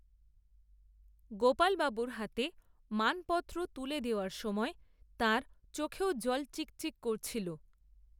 গোপালবাবুর হাতে মানপত্র তুলে দেওয়ার সময় তাঁর, চোখও জলে চিকচিক করছিল